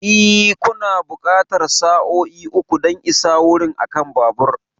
E, kuna buƙatar sa'o'i uku don isa wurin akan babur.